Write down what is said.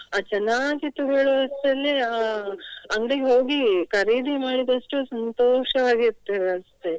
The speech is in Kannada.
ಅದು ಚೆನ್ನಾಗಿತ್ತು ಹೇಳುವುದ್ರಲ್ಲಿ ಅಹ್ ಅಂಗಡಿಗೆ ಹೋಗಿ ಖರೀದಿ ಮಾಡಿದಷ್ಟು ಸಂತೋಷವಾಗಿರ್ತೇವೆ ಅಷ್ಟೇ.